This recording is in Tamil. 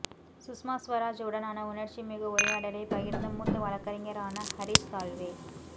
சுஷ்மா ஸ்வராஜ் உடனான உணர்ச்சிமிகு உரையாடலை பகிர்ந்த மூத்த வழக்கறிஞரான ஹரிஷ் சால்வே